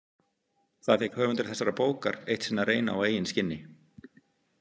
Það fékk höfundur þessarar bókar eitt sinn að reyna á eigin skinni.